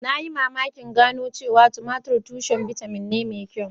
Na yi mamakin gano cewa tumatir tushen bitamin ne mai kyau